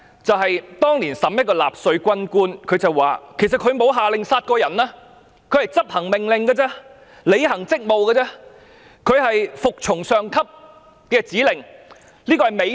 就是當年一名納粹軍官接受審判時，說自己沒有下令殺人，他只是執行命令，履行職務，他是服從上級的指令而這是美德。